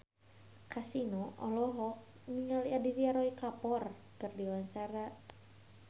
Kasino olohok ningali Aditya Roy Kapoor keur diwawancara